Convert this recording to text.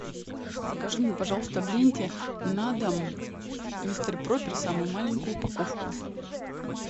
закажи мне пожалуйста в ленте на дом мистер пропер самую маленькую упаковку